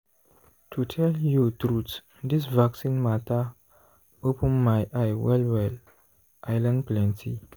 to tell you truth this vaccine matter open my eye well-well i learn plenty.